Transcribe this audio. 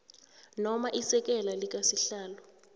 noma isekela likasihlalo